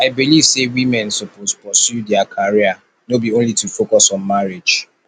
i believe sey women suppose pursue their career no be only to focus on marriage